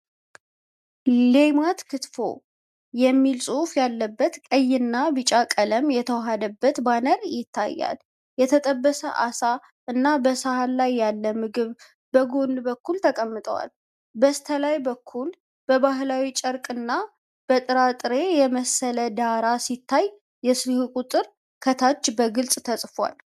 'ልማት ክትፎ' የሚል ጽሑፍ ያለበት ቀይና ቢጫ ቀለም የተዋሃደበት ባነር ይታያል። የተጠበሰ ዓሣ እና በሰሃን ላይ ያለ ምግብ በጎን በኩል ተቀምጠዋል። በስተላይ በኩል በባህላዊ ጨርቅና በጥራጥሬ የመሰለ ዳራ ሲታይ፣ የስልክ ቁጥር ከታች በግልጽ ተጽፏል።